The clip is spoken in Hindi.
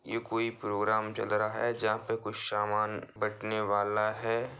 ये कोई प्रोग्राम चल रहा है जहां पे कुछ सामान बटने वाला है।